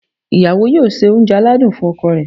ìyàwó yóò se oúnjẹ aladún fún ọkọ rẹ̀